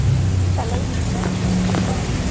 Það leynir sér ekki að hann er yfirsmiður.